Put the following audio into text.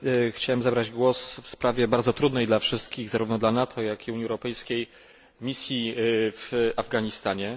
Chciałem zabrać głos w sprawie bardzo trudnej dla wszystkich zarówno dla NATO, jak i Unii Europejskiej misji w Afganistanie.